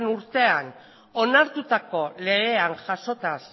urtean onartutako legean jasota